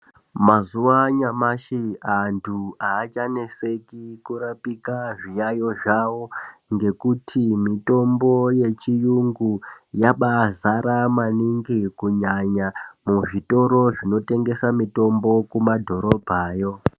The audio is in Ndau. Mazuva anyamashi antu aachanetseki kurapika zviyayiyo zvavo ngekuti mitombo yechiyungu yabai zara maningi kunyanya muzvitoro zvinotengesa mitombo kumadhorobha yoo.